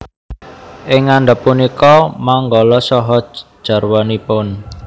Ing ngandhap punika manggala saha jarwanipun